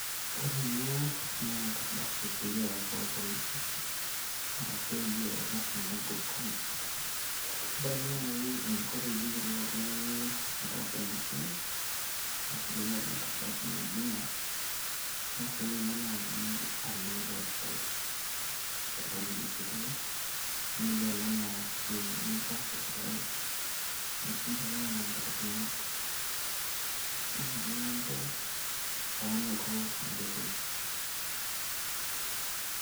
ore ena naa enkardasi clearance oo ilpolisi ashu ejo ilashumba good contact, ore ake naaji teneyielou oltung'ani atasa ena siai keng'as ake ninye naaji alo website esirikali ecitizen, nigelu naa esiai nitaasa esirkali ,nisuj ake nena barakinot oonoto enkoitoi.